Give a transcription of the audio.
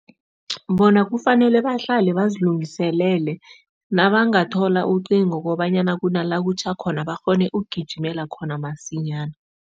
Bona kufanele bahlale bazilungiselele, nabangathola ucingo kobanyana kunala kutjho khona, bakghone ukugijimela khona masinyana.